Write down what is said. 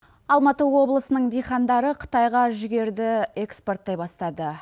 алматы облысының дихандары қытайға жүгерді экспорттай бастады